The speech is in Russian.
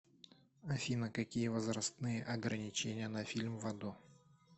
афина какие возрастные ограничения на фильм в аду